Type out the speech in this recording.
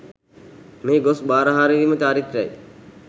මෙහි ගොස් බාරහාරවීම චාරිත්‍රයයි.